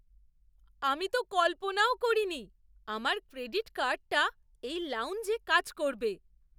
আমি তো কল্পনাও করিনি আমার ক্রেডিট কার্ডটা এই লাউঞ্জে কাজ করবে!